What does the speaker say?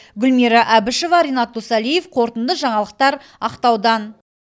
гүлмира әбішева ренат досалиев қорытынды жаңалықтар ақтаудан